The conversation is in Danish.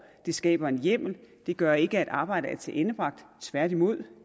det skaber en hjemmel det gør ikke at arbejdet er tilendebragt tværtimod